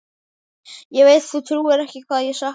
Ég veit þú trúir ekki hvað ég sakna hans.